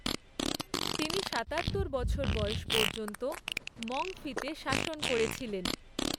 তিনি সাতাত্তর বছর বয়স পর্যন্ত মংফি তে শাসন করেছিলেন।